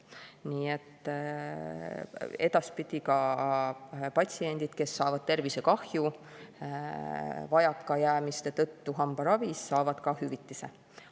Nii et edaspidi ka patsiendid, kes saavad tervisekahju vajakajäämiste tõttu hambaravis, saavad ka hüvitise.